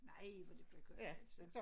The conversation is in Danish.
Nej hvor det blev godt altså